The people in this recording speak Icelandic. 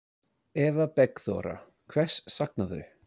Eva Bergþóra: Hvers saknarðu?